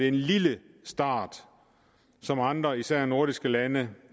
en lille start som andre især nordiske lande